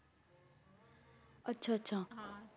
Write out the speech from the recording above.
ਆਚਾ ਆਚਾ ਹਾਂ